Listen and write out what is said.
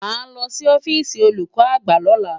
Màá lọ sí ọ́fíìsì olùkọ́ àgbà lọ́la.